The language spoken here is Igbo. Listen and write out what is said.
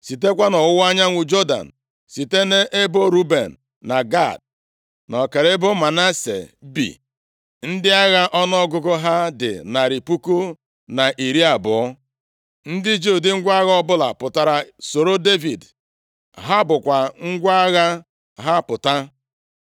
Sitekwa nʼọwụwa anyanwụ Jọdan, site nʼebo Ruben na Gad, na ọkara ebo Manase bi, ndị agha ọnụọgụgụ ha dị narị puku na iri abụọ (120,000), ndị ji ụdị ngwa agha ọbụla pụtara soro Devid. Ha bukwa ngwa agha ha pụta.